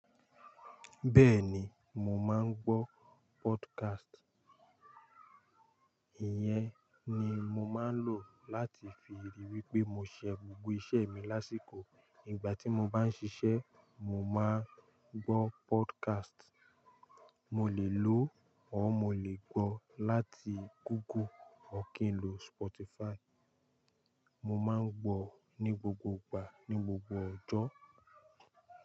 Bẹ́ẹ̀ni, mo máa ń gbọ́ podcast. Ìyẹn ni mo máa ń lò láti fi ríi wípé mo ṣe gbogbo iṣẹ́ mi lásìkò. Nígbà tí mo bá ń ṣiṣẹ́, mo máa ń gbọ́ podcast. Mo lè lo ọ́, mo lè gbọ́ láti Google, ọ̀ kín lo Spotify. Mo máa ń gbọ́ ní gbogbo ìgbà, ní gbogbo ọjọ́.